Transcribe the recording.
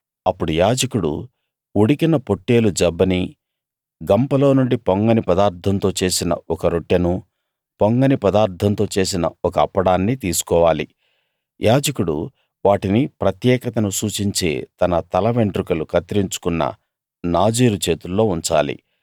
అప్పుడు యాజకుడు ఉడికిన పొట్టేలు జబ్బనీ గంపలోనుండి పొంగని పదార్ధంతో చేసిన ఒక రొట్టెనూ పొంగని పదార్ధంతో చేసిన ఒక అప్పడాన్నీ తీసుకోవాలి యాజకుడు వాటిని ప్రత్యేకతను సూచించే తన తల వెండ్రుకలు కత్తిరించుకున్న నాజీరు చేతుల్లో ఉంచాలి